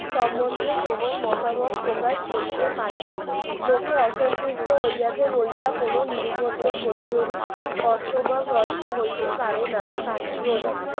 সম্বন্ধে কেবল মতামত প্রকাশ করিতে পারবে লোকে অসন্তুষ্ট হইয়াছে বলিয়া কোন নিরুপদ্রব প্রতিরোধী কর্তব্য ভ্রষ্ট হইতে পারে না তাকে গণিত